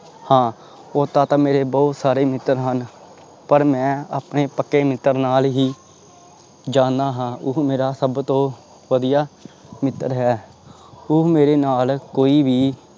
ਹਾਂ, ਓਦਾਂ ਤਾਂ ਮੇਰੇ ਬਹੁਤ ਸਾਰੇ ਮਿੱਤਰ ਹਨ, ਪਰ ਮੈਂ ਆਪਣੇ ਪੱਕੇ ਮਿੱਤਰ ਨਾਲ ਹੀ ਜਾਂਦਾ ਹਾਂ ਉਹ ਮੇਰਾ ਸਭ ਤੋਂ ਵਧੀਆ ਮਿੱਤਰ ਹੈ, ਉਹ ਮੇਰੇ ਨਾਲ ਕੋਈ ਵੀ